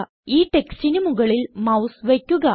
ഈ ടെക്സ്റ്റിന് മുകളിൽ മൌസ് വയ്ക്കുക